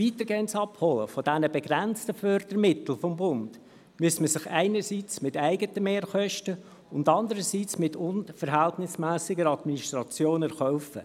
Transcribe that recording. Ein weitergehendes Abholen dieser begrenzten Fördermittel des Bundes müsste man sich einerseits mit eigenen Mehrkosten und andererseits mit unverhältnismässiger Administration erkaufen;